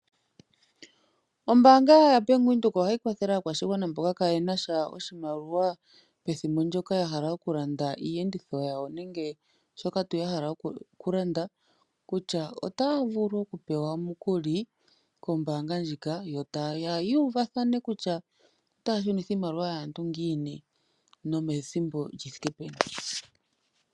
Ombaanga yaBank Windhoek ohayi kwathele aakwashigwana mboka kaayena sha oshimaliwa pethimbo ndyoka ya hala oku landa iiyenditho yawo nenge kutya kehe shoka ya hala oku landa, kutya otaya vulu oku pewa omukuli kombaanga ndjika yo taya uvathana kutya otaya shunitha iimaliwa yaantu ngiini nomethimbo lyi thike peni.